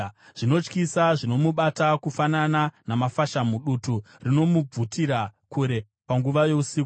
Zvinotyisa zvinomubata kufanana namafashamu; dutu rinomubvutira kure panguva yousiku.